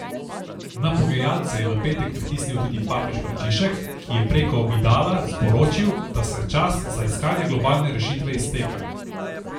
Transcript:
Na pogajalce je v petek pritisnil tudi papež Frančišek, ki je preko Vidala sporočil, da se čas za iskanje globalne rešitve izteka.